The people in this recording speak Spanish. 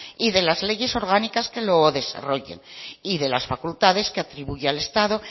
y de las leyes orgánicas que lo desarrollen y de las facultades que atribuye al estado